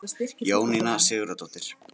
Jóninna Sigurðardóttir.